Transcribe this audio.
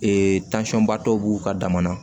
ba dɔw b'u ka dama na